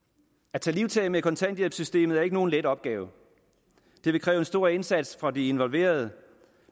at tage livtag med kontanthjælpssystemet er ikke nogen let opgave det vil kræve en stor indsats fra de involverede